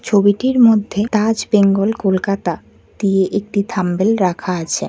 ছবিটির মধ্যে তাজ বেঙ্গল কলকাতা দিয়ে একটি থাম্বনেইল রাখা আছে।